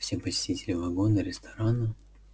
все посетители вагона-ресторана